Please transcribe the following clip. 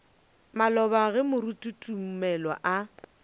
maloba ge moruti tumelo a